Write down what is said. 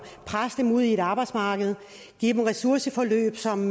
presse dem ud i et arbejdsmarked give dem ressourceforløb som